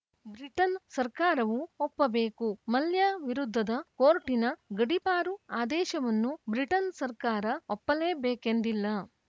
Britain ಸರ್ಕಾರವೂ ಒಪ್ಪಬೇಕು ಮಲ್ಯ ವಿರುದ್ಧದ ಕೋರ್ಟಿನ ಗಡೀಪಾರು ಆದೇಶವನ್ನು ಬ್ರಿಟನ್‌ ಸರ್ಕಾರ ಒಪ್ಪಲೇಬೇಕೆಂದಿಲ್ಲ